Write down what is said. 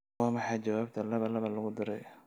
waa maxay jawaabta laba laba lagu daray